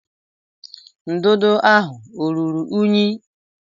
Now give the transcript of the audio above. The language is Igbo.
Ndụdụ ahụ ọ ruru unyi?